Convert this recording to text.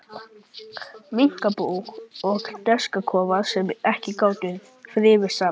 Minkabú og hænsnakofar, sem ekki gátu þrifist saman.